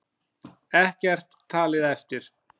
Ekkert talið eftir.